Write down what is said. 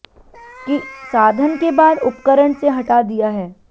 कि साधन के बाद उपकरण से हटा दिया है